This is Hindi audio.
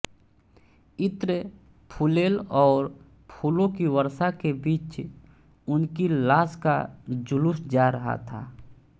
इत्र फुलेल और फूलों की वर्षा के बीच उनकी लाश का जुलूस जा रहा था